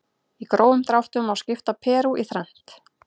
Í grófum dráttum má skipta Perú í þrennt.